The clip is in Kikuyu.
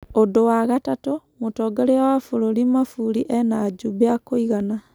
"ũndũ wa gatatũ, mũtongoria wa bũrũri Mafuri ena-ajumbe akũigana.